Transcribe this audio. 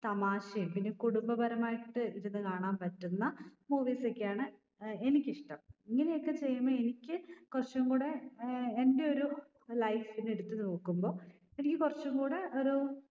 തമാശേം പിന്നെ കുടുംബപരമായിട്ട് ഇരുന്ന് കാണാൻ പറ്റുന്ന movies ഒക്കെയാണ് ഏർ എനിക്ക് ഇഷ്ട്ടം ഇങ്ങനെയൊക്കെ ചെയ്യുമ്പൊ എനിക്ക് കുറച്ചുംകൂടെ ഏർ എൻ്റെ ഒരു life നെ എടുത്ത് നോക്കുമ്പോ എനിക്ക് കുറച്ചും കൂടെ ഒരു